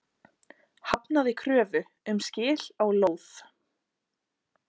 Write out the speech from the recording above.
Hafnaði kröfu um skil á lóð